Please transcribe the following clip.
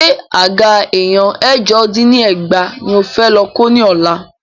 Ṣé àga èèyàn ẹ̀jọ dín ní ẹgbàá ní o fẹ́ lọ kó ní ọ̀la?